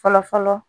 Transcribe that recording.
Fɔlɔ fɔlɔ